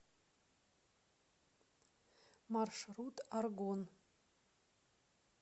маршрут аргон